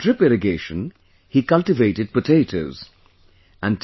Using drip irrigation he cultivated potatoes...